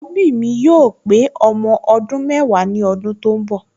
Àkọ́bí mi yóò pé ọmọ ọdún mẹ́wàá ní ọdún tó ń bọ̀